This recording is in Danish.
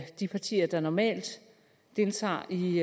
at de partier der normalt deltager i